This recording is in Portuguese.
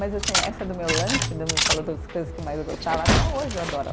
Mas, assim, essa do meu lanche do, falou das coisas que eu mais gostava, até hoje eu adoro.